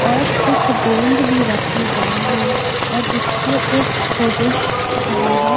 और कुछ गोंद भी रखे गए हैं और इसपे एक पुरुष खड़ा है।